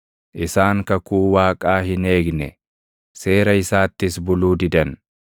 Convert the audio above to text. Isaan kakuu Waaqaa hin eegne; seera isaattis buluu didan.